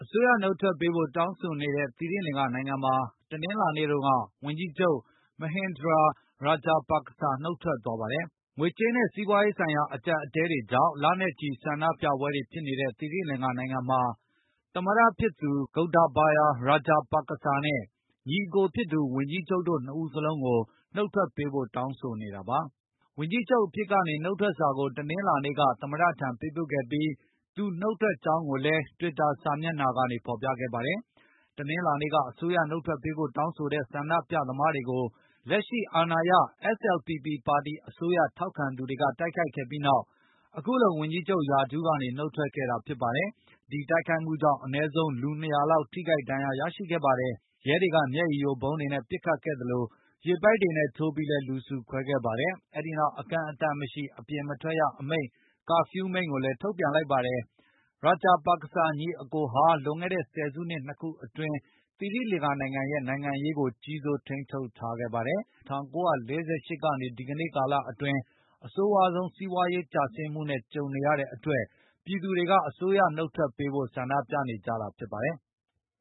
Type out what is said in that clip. စိုးရနှုတ်ထွက်ပေးဖို့တောင်းဆိုနေတဲ့ သီရိလင်္ကာနိုင်ငံမှာ တနင်္လာနေ့တုန်းက ဝန်ကြီးချုပ် Mahinda Rajapaska နှုတ်ထွက်သွားပါတယ်။ ငွေကြေးနဲ့စီးပွားရေးဆိုင်ရာအကြပ်အတည်းတွေကြောင့်လနဲ့ချီဆန္ဒပြပွဲတွေဖြစ်နေတဲ့ သီရိလင်္ကာနိုင်ငံမှာ သမတဖြစ်သူ Gotabaya Rajapaska နဲ့ ညီအကိုဖြစ်သူ ဝန်ကြီး ချုပ်တို့နှစ်စလုံးကိုနှုတ်ထွက်ပေးဖို့တောင်းဆိုနေတာပါ။ ဝန်ကြီးချုပ်အဖြစ်ကနေနှုတ်ထွက်စာကိုတနင်္လာနေ့က သမတထံပေးပို့ခဲ့ပြီး၊ သူနှုတ်ထွ က်ကြောင်းကိုလည်းတွစ်တာစာမျက်နှာကနေဖေါ်ပြခဲ့ပါတယ်။ တနင်္လာနေ့က အစိုးရနှုတ်ထွက်ပေးဖို့တောင်းဆိုနေတဲ့ဆန္ဒပြသမားတွေကို၊လက်ရှိ SLPP ပါတီအစိုးရထောက်ခံသူတွေကတိုက်ခိုက်ခဲ့ပြီးနောက် အခုလိုဝန်ကြီးချုပ်ရာထူး ကနေနှုတ်ထွက်ခဲ့တာဖြစ်ပါတယ်။ ဒီတိုက်ခိုက်မှုကြောင့်အနည်းဆုံးလူ ၂၀၀ လောက်ထိ ခိုက်ဒါဏ်ရာရခဲ့ပါတယ်။ ရဲတွေက မျက်ရည်ယိုဗုံးတွေနဲ့ပစ်ခတ်ခဲ့သလို၊ ရေပိုက်တွေနဲလည်းထိုးပြီးလူစုခွဲခဲ့ပါတ ယ်။ အဲဒိနောက်အကန့်အသတ်မရှိ အပြင်မထွက်ရကာဖြူးအမိန့်ကိုလည်းထုတ်ပြန် လိုက်ပါတယ်။ ရာဂျပါကစာ ညီအကိုဟာလွန်ခဲ့တဲ့ ဆယ်စုနှစ် ၂ ခုအတွင်းသိရိလင်္ကာရဲ့နိုင်ငံရေးကို ကြီးစိုးထိန်းချုပ်ထားခဲ့ပါတယ်။ သိရီလင်္ကာနိုင်ငံဟာ ၁၉၄၈ ကနေဒီကနေကာလအတွင်းအဆိုးဆုံးစီးပွားရေးကျဆင်းမှု နဲ့ကြုံနေရတဲ့အတွက် ပြည်သူတွေကအစိုးရကို နှုတ်ထွက်ပေးဖို့ ဆန္ဒပြနေကြတာဖြစ် ပါတယ်။